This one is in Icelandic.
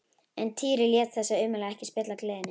En Týri lét þessi ummæli ekki spilla gleði sinni.